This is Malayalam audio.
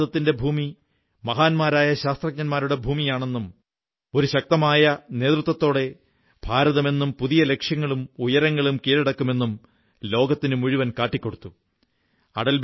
ഭാരതത്തിന്റെ ഭൂമി മഹാന്മാരായ ശാസ്ത്രജ്ഞരുടെ ഭൂമിയാണെന്നും ഒരു ശക്തമായ നേതൃത്വത്തോടെ ഭാരതം എന്നും പുതിയ ലക്ഷ്യങ്ങളും ഉയരങ്ങളും കീഴക്കടക്കുമെന്നും ലോകത്തിനു മുഴുവൻ കാട്ടിക്കൊടുത്തു